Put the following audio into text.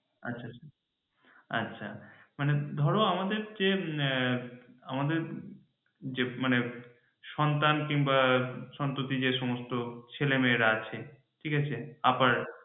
আচ্ছা আচ্ছা আচ্ছা মানে ধরো আমাদের যে আমাদের যে মানে সন্তান কিমবা সন্ততি যে সমস্ত ছেলে মেয়েরা আছে ঠিক আছে আবার